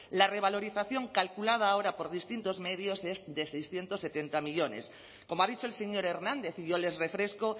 la revalorización calculada ahora por distintos medios es de seiscientos setenta millónes como ha dicho el señor hernández y yo les refresco